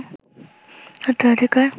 হত্যার অধিকার